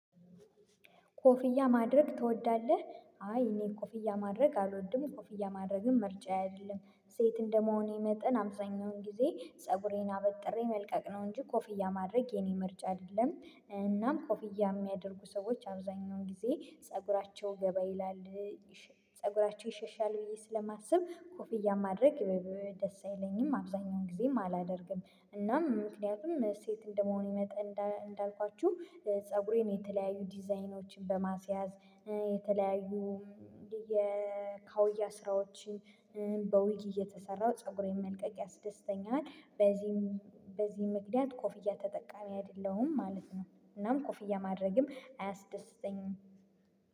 ኮፍያ ማድረግ ትወዳለህ? አይ እኔ ኮፍያ ማድረግ አልወድም ኮፍያ ማድረግም ምርጫዬ አይደለም ሴት እንደመሆኔ መጠን አብዛኛውን ጊዜ ፀጉሬን አበጥሬ መልቀቅ ነው እንጂ ኮፍያ ማድረግ የኔ ምርጫ አይደለም። እናም ኮፍያ የሚያደርጉ ሰዎች አብዛኛውን ጊዜ ፀጉራቸው ገባ ይላል ፀጉራቸው ይሸሻል ብዬ ስለማስብ ኮፍያ ማድረግ ደስ አይለኝም አብዛኛውን ጊዜም አላደርግም። እናም ምክንያቱም ሴት እንደመሆን ይመጣ እንዳልኳችሁ ፀጉሬን የተለያዩ ዲዛይኖችን በማስያዝ የተለያዩ የካውያ ስራዎችን በዊግ እየተሰራው ፀጉሬን መልቀቅ ያስደስተኛል። በዚህ ምክንያት ኮፍያ ተጠቃሚ አይደለሁም ማለት ነው እናም ኮፍያ ማድረግም አያስደስተኝም።